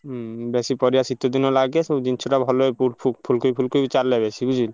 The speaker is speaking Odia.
ହୁଁ ବେଶୀ ପରିବା ଶୀତ ଦିନ ଲାଗେ। ସବୁ ଜିନିଷଟା ଭଲ ବି ପୁ ଫୁ ଫୁଲକୋବି ଫୁଲକୋବି ଚଲେ ବେଶୀ ବୁଝିଲୁ।